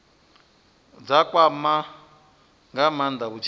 dza kwama nga maanda vhutshilo